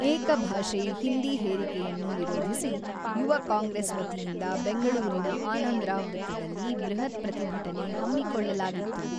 ಏಕ ಭಾಷೆ ಹಿಂದಿ ಹೇರಿಕೆಯನ್ನು ವಿರೋಧಿಸಿ ಯುವ ಕಾಂಗ್ರೆಸ್ ವತಿಯಿಂದ ಬೆಂಗಳೂರಿನ ಆನಂದರಾವ್ ವೃತ್ತದಲ್ಲಿ ಬೃಹತ್ ಪ್ರತಿಭಟನೆ ಹಮ್ಮಿಕೊಳ್ಳಲಾಗಿತ್ತು.